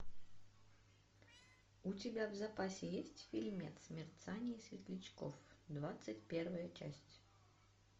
у тебя в запасе есть фильмец мерцание светлячков двадцать первая часть